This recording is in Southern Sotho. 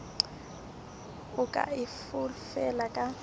o ka e fofela ka